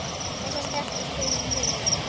Þessi stelpa spilar mjög vel.